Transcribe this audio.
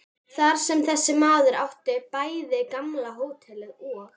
Þar sem þessi maður átti bæði gamla hótelið og